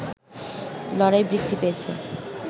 লড়াই বৃদ্ধি পেয়েছে